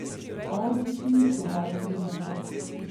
Avdić ni sedel križem rok.